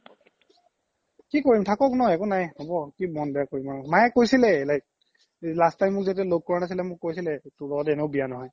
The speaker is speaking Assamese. কি কৰিম থাকক ন হ'ব কি মন বেয়া কৰিম আৰু মাইয়ে কৈছিলেই like last time যেতিয়া মোক ল্'গ কৰা নাছিলে মোক কইছিলে তোৰ এনেও বিয়া নহয়